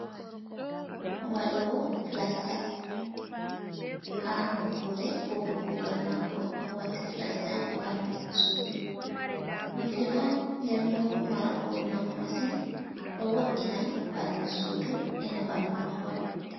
Waɗowo flasta. Haa nokkure huwugo kugal maako, haa o watta flasta haa ɓandu sudu. Ɗum filu on nden bo marango nafu masin ɗo wo’ina ɓandu sudu ena ɓandu mahol.